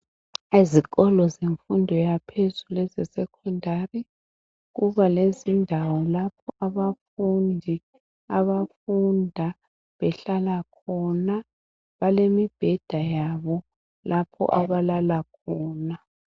Ezikolo zemfundo yaphezulu esecondary kuba lendawo lapho abafundi abahlala khona balemibheda yabo lapho abalala khona